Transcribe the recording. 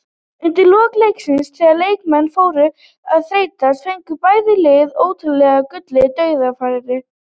Undir lok leiksins þegar leikmenn fóru að þreytast fengu bæði lið óteljandi gullin dauðafæri.